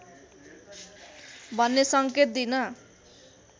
भन्ने सङ्केत दिन